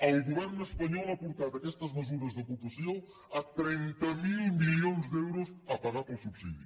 el govern espanyol ha portat aquestes mesures d’ocupació a trenta miler milions d’euros a pagar per al subsidi